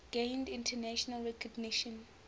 gained international recognition